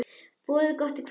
Boðið gott kvöld.